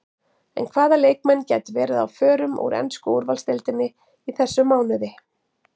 En hvaða leikmenn gætu verið á förum úr ensku úrvalsdeildinni í þessum mánuði?